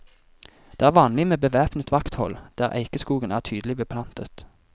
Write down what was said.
Det er vanlig med bevæpnet vakthold der eikeskogen er tydelig beplantet.